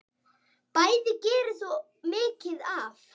Bæði gerðir þú mikið af.